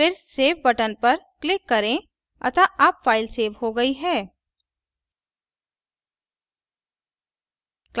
फिर save button पर click करें अतः अब फ़ाइल so हो गई है